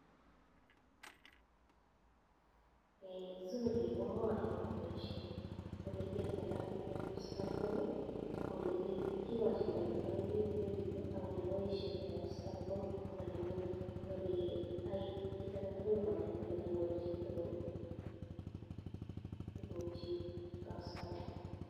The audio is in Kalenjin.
Zuri komwae akoba baishet , olikiyaito kasit en kab safaricom akole kiikikachindaito pik credit ak olebishato kab safaricom akole yai kit aketukul konai kole kanyor chitukul tukukchik en kab safaricom.